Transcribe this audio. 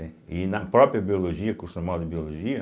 E na própria biologia, acostumado em biologia,